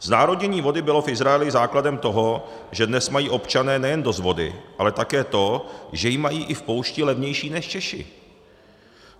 Znárodnění vody bylo v Izraeli základem toho, že dnes mají občané nejen dost vody, ale také to, že ji mají i v poušti levnější než Češi.